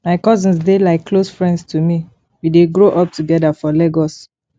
my cousins dey like close friends to me we dey grow up together for lagos